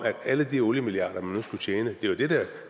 alle de oliemilliarder man nu skulle tjene det var det